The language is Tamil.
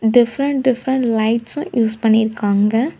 டிஃப்ரன்ட் டிஃப்ரன்ட் லைட்ஸு யூஸ் பண்ணிருக்காங்க.